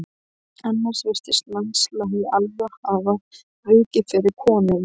Annars virtist landslagið alveg hafa vikið fyrir konunni.